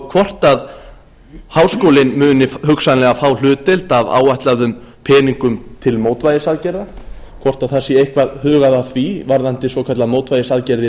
hvort háskólinn muni hugsanlega frá hlutdeild af áætluðum peningum til mótvægisaðgerða hvort það sé eitthvað hugað að því varðandi svokallaðar mótvægisaðgerðir